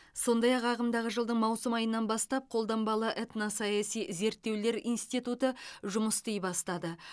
сондай ақ ағымдағы жылдың маусым айынан бастап қолданбалы этносаяси зерттеулер институты жұмыс істей бастады